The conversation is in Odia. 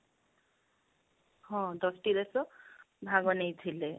ହଁ ଦଶ ଟି ଦେଶ ଭାଗ ନେଇଥିଲେ